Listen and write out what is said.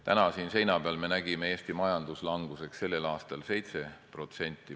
Täna siin seina peal me nägime Eesti majanduslanguse selle aasta prognoosina 7%.